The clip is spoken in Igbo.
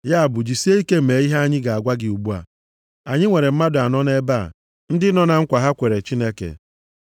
Ya bụ, jisie ike mee ihe anyị ga-agwa gị ugbu a. Anyị nwere mmadụ anọ nʼebe a, ndị nọ na nkwa ha kwere Chineke.